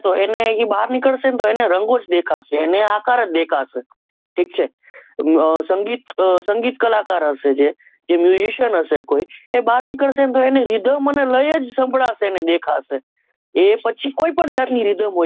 એ બહાર નીકળશે તો એને રંગો જ દેખાશે એને આકાર જ દેખાશે ઠીક છે અ સંગીત સંગીત કલાકાર હશે જે ian હશે કોઈ એ બાર નીકળશે ને તો એને રીધમ અને લય જ સભડાસે અને દેખાશે એ પછી કોઈપણ જાતની રીધમ હોઈ